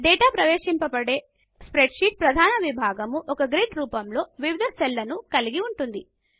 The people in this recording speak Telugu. డేటా ప్రవేశింపబడే స్ప్రెడ్షీట్ ప్రధాన విభాగం ఒక గ్రిడ్ రూపంలో వివిధ సెల్లను కలిగి ఉంటుంది